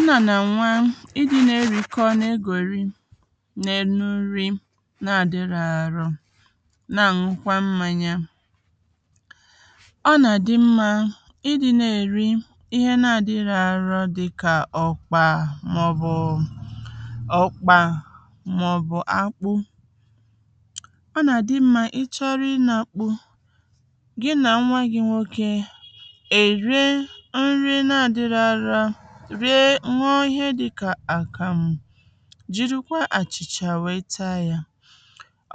nnà nà ǹwa i di̇ nee rikọ nee gòri neenu nri naà dirọ̇ ȧru̇ naà ṅukwa mmȧnyȧ ọ nàà di mmȧ i di̇ neè ri ihe naà di ihẹ̇ àru di kà òkpà mà ọ̀ bù òkpà mà ọ̀ bù akpu ọ nàà di mmȧ i chọrọ i na akpu̇ gị nà nwa gi̇ nwokė rịe ihe dị kà àkàmụ jìrikwa àchìchà wèe taa yȧ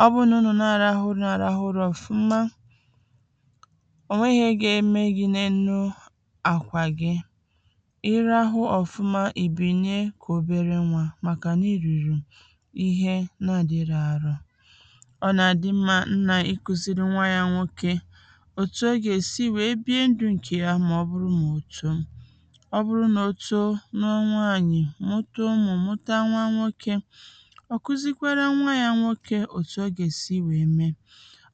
ọ bụnụ nà araahụ nà araahụ rọ̀fụma ò nwehi̇é gėė me gi̇ ne-enu àkwà gi irahụ ọ̀fụma ìbìnyè kà obere nwȧ màkà nà i rìrì ihe na-àdịrọ àrọ ọ nà àdị mmȧ nnà iku̇siri nwa yȧ nwokė òtù o gà èsi wèe bịa ndụ̀ ǹkè ya mà ọ bụrụ mà òtù ọ bụrụ nà o too n’onwe ànyị̀ mụtà umù mụtà nwa nwokė ọ kuzikwara nwa ya nwokė òtù ogèsi wèe me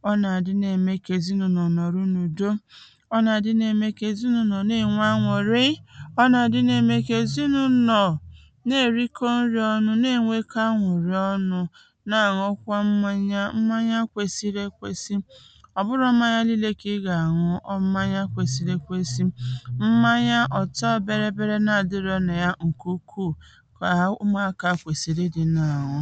ọ nà àdị na-ème kà èzinụ̇nụ̀ nọ̀ nọ̀ru n’ùdo ọ nà àdị na-ème kà èzinụ̇nụ̀ ne-ènwe anwụ̀ ree ọ nà àdị na-ème kà èzinụ̇nụ̀ nọ̀ na-èriko nri ọnu̇, ne-ènwe ka anwụ̀ nri ọnu̇ na-àṅụkwa mmanya mmanya kwesiri ekwesi ọ̀ bụrụ mmanya niilė kà ị gà-àṅụ ọ mmanya kwesiri ekwesi kà ha umeakọ̀ akwèsìrì dị nnà àhụ